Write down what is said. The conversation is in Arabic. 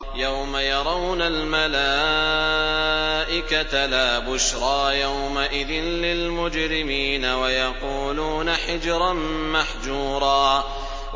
يَوْمَ يَرَوْنَ الْمَلَائِكَةَ لَا بُشْرَىٰ يَوْمَئِذٍ لِّلْمُجْرِمِينَ وَيَقُولُونَ حِجْرًا مَّحْجُورًا